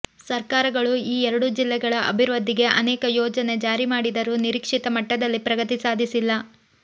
ಸರ್ಕಾರಗಳು ಈ ಎರಡೂ ಜಿಲ್ಲೆಗಳ ಅಭಿವೃದ್ಧಿಗೆ ಅನೇಕ ಯೋಜನೆ ಜಾರಿ ಮಾಡಿದರೂ ನಿರೀಕ್ಷಿತ ಮಟ್ಟದಲ್ಲಿ ಪ್ರಗತಿ ಸಾಧಿಸಿಲ್ಲ